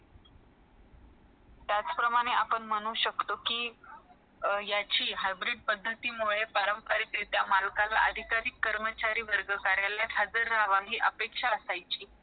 त्याच प्रमाणे आपण म्हणू शकतो कि याची hybrid पद्धती परंपरीक मुळे not clear अधिक तरी कर्मचारी वर्ग कार्यालय हजार राहावे याची परवानगी असंयची